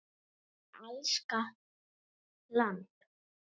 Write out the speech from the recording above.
og Er Alaska land?